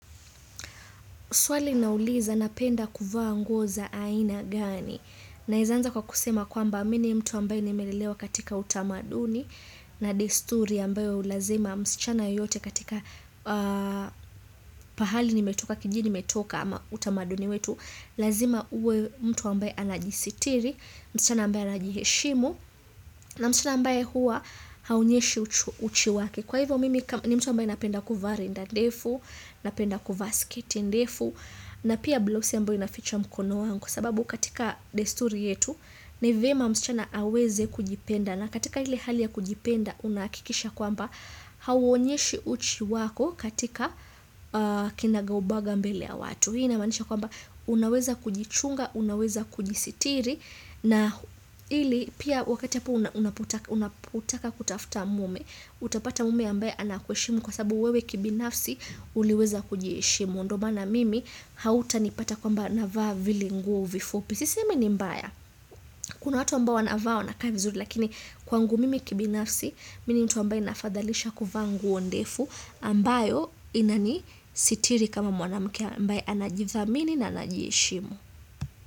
Swali inauliza napenda kuvaa nguo za aina gani. Naeza anza kwa kusema kwamba mi ni mtu ambaye nimelelewa katika utamaduni na desturi ambaye lazima msichana yote katika pahali nimetoka kijini nimetoka ama utamaduni wetu. Lazima uwe mtu ambaye anajisitiri, msichana ambaye anajiheshimu na msichana ambaye hua haonyeshi uchi wake. Kwa hivyo mimi ni mtu ambaye napenda kuvaa rinda defu, napenda kuvaa sketi ndefu, na pia blouse ambayo inaficha mkono wangu. Sababu katika desturi yetu, nivyema msichana aweze kujipenda. Na katika hili hali ya kujipenda, unahakikisha kwamba hauonyeshi uchi wako katika kinagaubaga mbele ya watu. Hii inamaanisha kwamba unaweza kujichunga, unaweza kujisitiri na hili pia wakati hapo unapotaka kutafuta mume utapata mume ambaye anakuheshimu kwa sababu wewe kibinafsi uliweza kujiheshimu, ndio mana mimi hauta nipata kwamba navaa vile nguo vifupi. Sisemi ni mbaya, kuna watu ambao wanavaa wanakaa vizuri lakini kwangu mimi kibinafsi, mi ni mtu ambaye nafadhalisha kuvaa nguo ndefu, ambayo inani sitiri kama Mwana mke ambaye anajithamini na anajiheshimu.